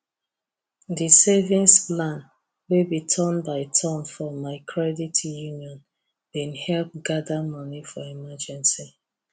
the savings plan wey be turn by turn for my credit union been help gather money for emergency